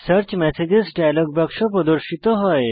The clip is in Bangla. সার্চ মেসেজেস ডায়লগ বাক্স প্রদর্শিত হয়